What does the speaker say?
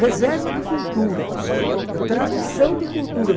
Reserva de cultura, tradição de cultura.